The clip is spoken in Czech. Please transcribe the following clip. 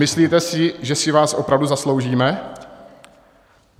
Myslíte si, že si vás opravdu zasloužíme?